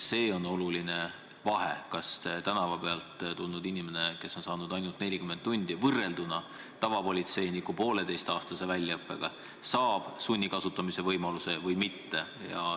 On oluline vahe, kas tänavalt tulnud inimene, kes on saanud ainult 40 tundi väljaõpet erinevalt tavapolitseiniku pooleteiseaastasest väljaõppest, saab sunni kasutamise võimaluse või mitte.